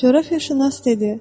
Coğrafiyaşünas dedi.